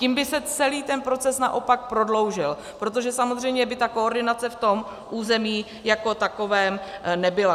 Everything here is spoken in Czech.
Tím by se celý ten proces naopak prodloužil, protože samozřejmě by ta koordinace v tom území jako takovém nebyla.